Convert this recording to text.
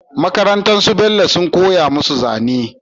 Makarantar su bello sun koya musu zane